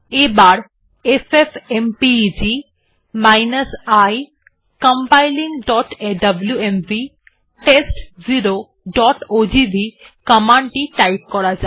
এবার FFmpeg i compilingডব্লুএমভি test0ওজিভি কমান্ড টি টাইপ করা যাক